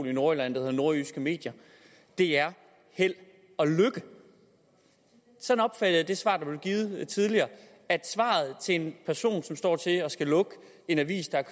i nordjylland der hedder nordjyske medier er held og lykke sådan opfatter jeg det svar der blev givet tidligere svaret til en person som står til at skulle lukke en avis der er